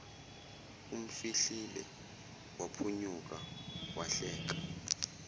umfihlile waphunyuka wahleka